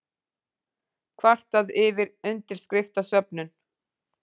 Kvartaði yfir undirskriftasöfnun